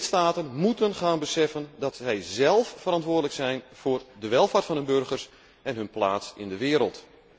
Lidstaten moeten gaan beseffen dat zij zelf verantwoordelijk zijn voor de welvaart van hun burgers en hun plaats in de wereld.